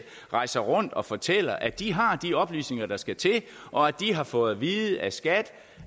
rejser rundt og fortæller at de har de oplysninger der skal til og at de har fået vide af skat